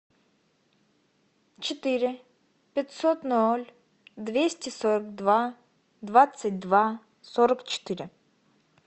четыре пятьсот ноль двести сорок два двадцать два сорок четыре